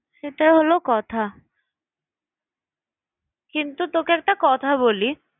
সেটা হল কথা কিন্তু তোকে একটা কথা বলি